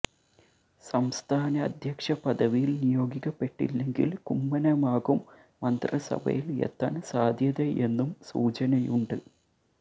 സംസ്ഥാന അധ്യക്ഷ പദവിയിൽ നിയോഗിക്കപ്പെട്ടില്ലെങ്കിൽ കുമ്മനമാകും മന്ത്രിസഭയിൽ എത്താൻ സാധ്യതയെന്നും സൂചനയുണ്ട്